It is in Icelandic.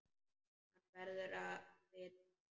Hann verður að vita það.